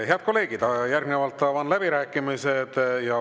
Head kolleegid, järgnevalt avan läbirääkimised.